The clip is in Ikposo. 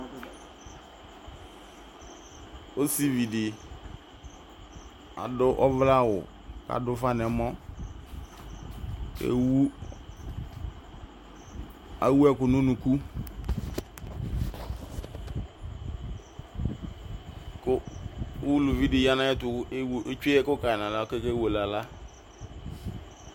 osividi aduʋ ɔvlɛawʋ kaduʋfa nɛmɔɔ kɛwu ewuɛkʋ nu nuku kʋ uluvidi ya nayɛtʋ kʋ ew etsoe ɛkʋka nala koke wele ala